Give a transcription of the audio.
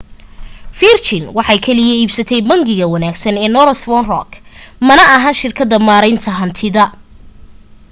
virgin waxay kaliya iibsatay ' bangiga wanaagsan’ ee northern rock mana ahan shirkadda maareynta hantida